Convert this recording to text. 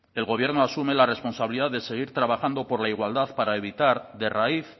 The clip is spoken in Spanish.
el gobierno asume la responsabilidad de seguir trabajando por la igualdad para evitar de raíz